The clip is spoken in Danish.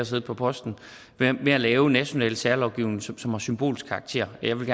siddet på posten at lave national særlovgivning som som har symbolsk karakter jeg vil